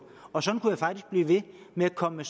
og sådan kunne jeg faktisk blive ved med at komme